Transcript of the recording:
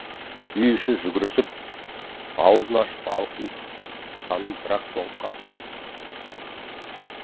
үй іші жүгірісіп аузын ашып аңқиып санын бір ақ соғып қалыпты